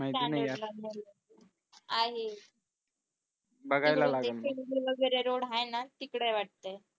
आहे सिंधू वगैरे road आहे ना तिकडे आहे वाटतं